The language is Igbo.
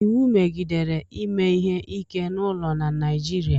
iwu megidere ime ihe ike n'ụlọ na Naịjirịa